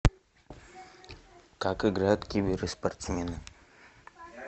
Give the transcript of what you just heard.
как играют киберы спортсмены